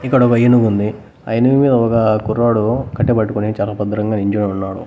ఇక్కడ ఒక ఏనుగు ఉంది ఆ ఏనుగు మీద ఒక కుర్రాడు కట్టె పట్టుకొని చాలా భద్రంగా నిల్చోని ఉన్నాడు.